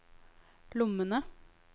lommene